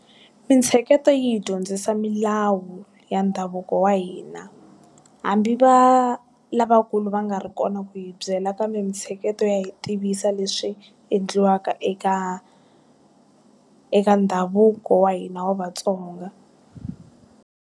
Mintsheketo yi hi dyondzisa milawu ya ndhavuko wa hina. Hambi va, lavakulu va nga ri kona ku yi byela kambe mintsheketo ya hi tivisa leswi endliwaka eka eka ndhavuko wa hina wa vatsonga.